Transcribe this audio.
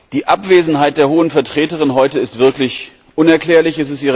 Die Abwesenheit der Hohen Vertreterin heute ist wirklich unerklärlich.